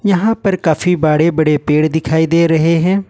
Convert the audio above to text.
यहां पर काफी बड़े बड़े पेड़ दिखाई दे रहे हैं।